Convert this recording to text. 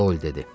Dol dedi.